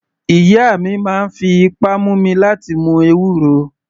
Ìyá mi máa ń fi ipá mú mi láti mu ewúro.